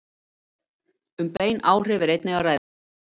Um bein áhrif er einnig að ræða.